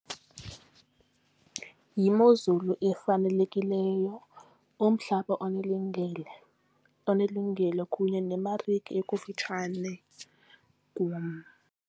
Yimozulu efanelekileyo, umhlaba onelungelo kunye nemarike ekufitshane kum.